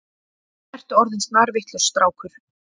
Ertu orðinn snarvitlaus strákur.